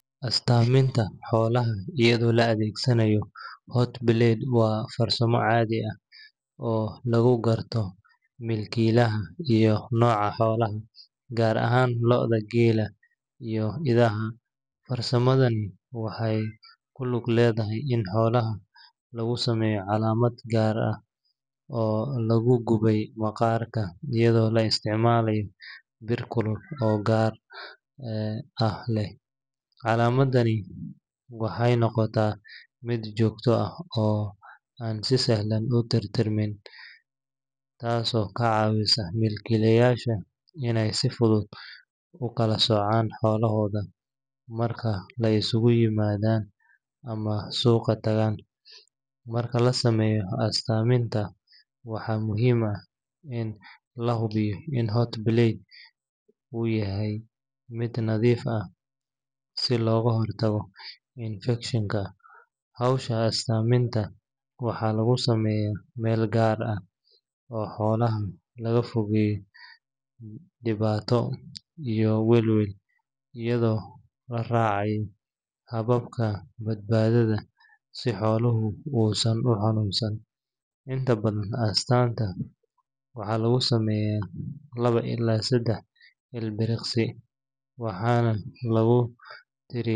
Astaminta xolaha iyadha oo la adhegsanaya hot bled waa farsamo cadhi ah oo lagu garto milkilaha iyo noca xolaha gar ahan gela farsamaada waxee ku lug ledhahay xolaha lagu sameya calammad gar ah oo lagu guway maqarka iyadha oo la isticmalay bir, calamadani waxee noqota miid jogto ah oo an si sahlan u tir tir manin tas oo ka cawisa milkilayasha in ee si fuduud ukala socan milkilayashaa xolohoda marki ee suqa tagan, marka an sameyo astanta waxaa muhiim ah in lahubiyo hot bled u yahay miid nadhiif ah si loga hortago ilfikshanka diwato iyo weel iyadha oo la racaya hababka bad badadha oo san u xanun san inta badan astanta waxaa lagu sameyaa lawa ila sadax ilbiriqsi waxana lagu tiriya.